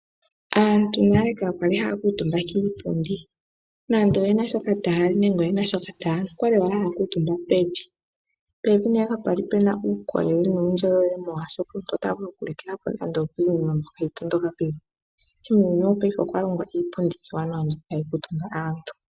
Aantu nale ka kwali ha ya kuutumba kiipundi, nande oyena shoka taya li nenge yena shoka ta ya nu, okwa li owala haya kuutumba pevi. Pevi nee kapwali pena uukolele nuundjolowele molwaashoka omuntu ota vulu nande oku likila po nande okiinima mbyoka hayi tondoka pevi. Muuyuni wopaife okwalongwa iipundi iiwanawa mbyoka ha yi kuutumba aantu.